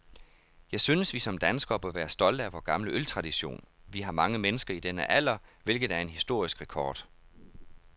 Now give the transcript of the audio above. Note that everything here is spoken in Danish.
Jeg synes, vi som danskere bør være stolte af vor gamle øltradition. Vi har mange mennesker i denne alder, hvilket er en historisk rekord.